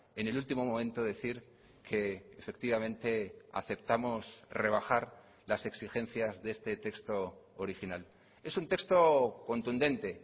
en el último momento decir que efectivamente aceptamos rebajar las exigencias de este texto original es un texto contundente